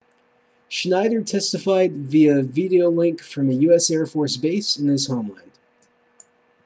schneider testified via videolink from a usaf base in his homeland